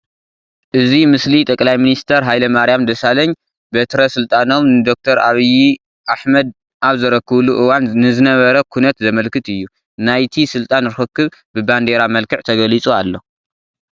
እዚ ምስሊ ጠቅላይ ሚኒስትር ሃይለማርያም ደሳለኝ በትረ ስልጣኖም ንዶክተር ዓብዪ ኣሕመድ ኣብ ዘረከብሉ እዋን ንዝነበረ ኩነት ዘመልክት እዩ፡፡ ናይቲ ስልጣን ርኽኽብ ብባንዲራ መልክዕ ተገሊፁ ኣሎ፡፡